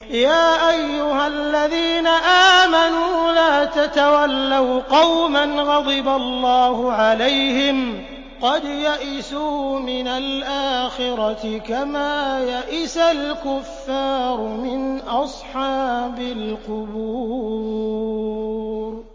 يَا أَيُّهَا الَّذِينَ آمَنُوا لَا تَتَوَلَّوْا قَوْمًا غَضِبَ اللَّهُ عَلَيْهِمْ قَدْ يَئِسُوا مِنَ الْآخِرَةِ كَمَا يَئِسَ الْكُفَّارُ مِنْ أَصْحَابِ الْقُبُورِ